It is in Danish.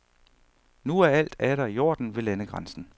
Nu er alt atter i orden ved landegrænsen.